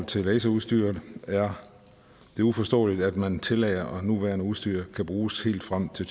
til laserudstyr er det uforståeligt at man tillader at nuværende udstyr kan bruges helt frem til